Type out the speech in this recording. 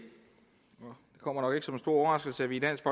kommer nok ikke som en stor overraskelse at vi i dansk